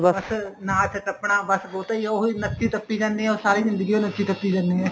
ਬੱਸ ਨਾਚ ਟੱਪਣਾ ਬੱਸ ਫ਼ੋਟੋ ਹੀ ਉਹੀ ਨੱਚੀ ਟੱਪੀ ਜਾਂਦੇ ਏ ਉਹ ਸਾਰੀ ਜ਼ਿੰਦਗੀ ਹੋ ਨੱਚੀ ਟੱਪੀ ਜਾਣੇ ਏ